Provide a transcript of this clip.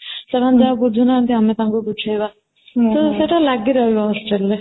ସେମାନେ ଯାହା ବୁଝିନାହାନ୍ତି ଆମେ ତାଙ୍କୁ ବୁଝେଇବା ତ ସେଇଟା ଲାଗି ରହିବ hostel ରେ